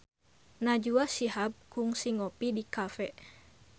Najwa Shihab kungsi ngopi di cafe